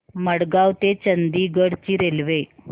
मडगाव ते चंडीगढ ची रेल्वे